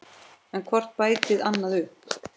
En hvort bætti annað upp.